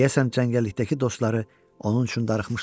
Deyəsən cəngəllikdəki dostları onun üçün darıxmışdılar.